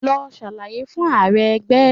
Lọ ṣàlàyé fún Ààrẹ ẹgbẹ́!